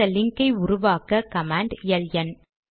இந்த லிங்க் ஐ உருவாக்க கமாண்ட் எல்என்